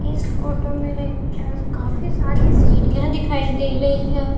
इस फोटो में काफी सारी सीढ़ियां दिखाई दे रही है।